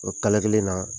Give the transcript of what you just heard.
O kala kelen na